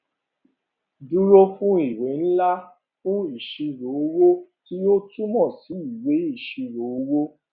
lf dúró fún ìwé ńlá fun ìṣirò owó tí ó túmọ sí ìwé ìṣirò owó